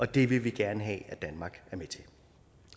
det vil vi gerne have at danmark er med til